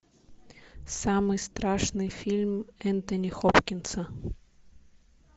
самый страшный фильм энтони хопкинса